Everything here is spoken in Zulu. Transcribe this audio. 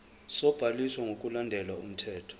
sobhaliso ngokulandela umthetho